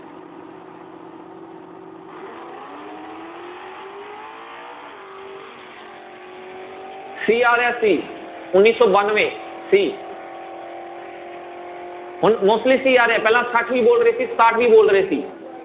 c ਆ ਰਿਹਾ c ਉੱਨੀ ਸੌ ਬਾਨਵੇਂ c ਹੁਣ mostly c ਆ ਰਿਹਾ ਪਹਿਲਾਂ ਛੱਠ ਵੀ ਬੋਲ ਰਹੇ ਸੀ ਸਤਾਹਠ ਵੀ ਬੋਲ ਰਹੇ ਸੀ।